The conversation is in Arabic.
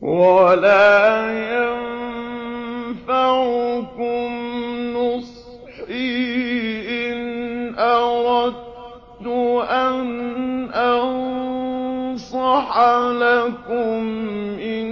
وَلَا يَنفَعُكُمْ نُصْحِي إِنْ أَرَدتُّ أَنْ أَنصَحَ لَكُمْ إِن